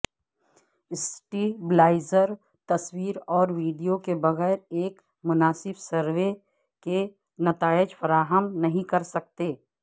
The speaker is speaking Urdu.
سٹیبلائزر تصویر اور ویڈیو کے بغیر ایک مناسب سروے کے نتائج فراہم نہیں کر سکتے